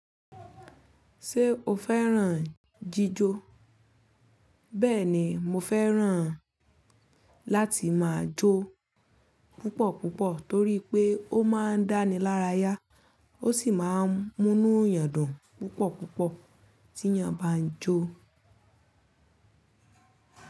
Ṣé o fẹ́ràn jíjó? Bẹ́ẹ̀ni mo fẹ́ràn láti máa jó púpò púpò tó rí pé ó máa ń dáni lára ya ó sì máa ń mú inú yàn dùn púpọ̀ púpọ̀ tí ẹ̀yán bá ń jó.